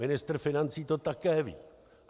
Ministr financí to také ví.